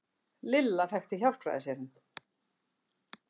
Lilla þekkti Hjálpræðisherinn.